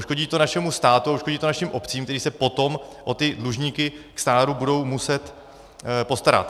Uškodí to našemu státu a uškodí to našim obcím, které se potom o ty dlužníky k stáru budou muset postarat.